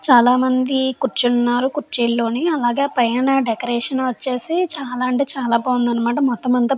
చాలామంది కూర్చున్నారు కుర్చీల్లోని అలాగే పైన నా డెకరేషన్ వచ్చేసి చాలా అంటే చాలా బాగుంది అన్నమాట. మొత్తం అంత --